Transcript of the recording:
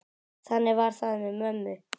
Þannig var það með mömmu.